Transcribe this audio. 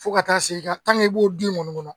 Fo ka taa se i ka i b'o du in kɔni kɔnɔ.